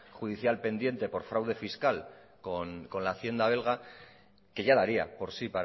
judicial pendiente por fraude fiscal con la hacienda belga que ya daría por sí